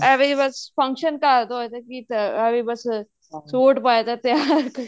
ਐਵੇ ਹੀ ਬੱਸ function ਘਰ ਹੋਵੇ ਤੇ ਐਵੇਂ ਹੀ ਬੱਸ suit ਪਾਏ ਤੇ ਤਿਆਰ